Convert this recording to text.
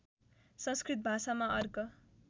संस्कृत भाषामा अर्क